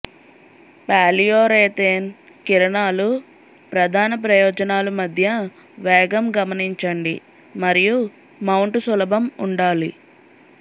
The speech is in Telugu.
పాలియురేతేన్ కిరణాలు ప్రధాన ప్రయోజనాలు మధ్య వేగం గమనించండి మరియు మౌంటు సులభం ఉండాలి